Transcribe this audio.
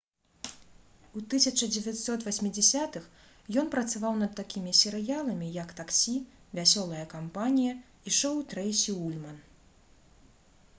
у 1980-х ён працаваў над такімі серыяламі як «таксі» «вясёлая кампанія» і «шоу трэйсі ульман»